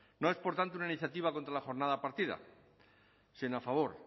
no es por tanto una iniciativa contra la jornada partida sino a favor